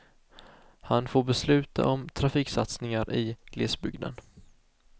Han får besluta om trafiksatsningar i glesbygden.